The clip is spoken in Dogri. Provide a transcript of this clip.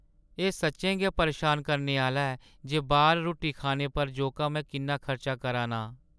एह् सच्चें गै परेशान करने आह्‌ला ऐ जे बाह्‌र रुट्टी खाने पर जोका में किन्ना खर्च करा नां।